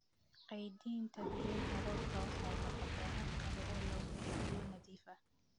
Keydinta biyaha roobka waxay noqotay hab kale oo lagu helo biyo nadiif ah.